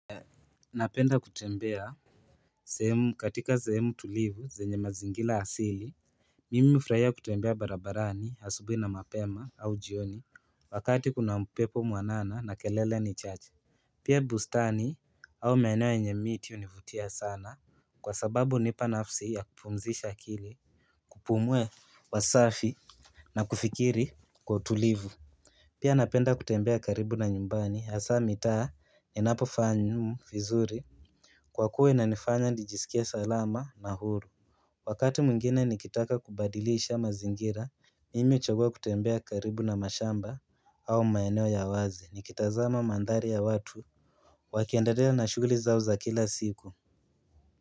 Napenda kutembea katika sehemu tulivu zenye mazingira asili Mimi hufurahia kutembea barabarani asubuhi na mapema au jioni, wakati kuna upepo mwanana na kelele ni chache Pia bustani au maeneo yenye miti hunivutia sana kwa sababu, hunipa nafsi ya kupumzisha akili kupumua hewa safi na kufikiri kwa utulivu Pia napenda kutembea karibu na nyumbani. Hasa mitaa ninapofaa vizuri kwa kuwa inanifanya nijisikie salama na huru Wakati mwingine nikitaka kubadiliisha mazingira, mimi huchagua kutembea karibu na mashamba au maeneo ya wazi nikitazama mandhari ya watu Wakiendelea na shughuli zao za kila siku.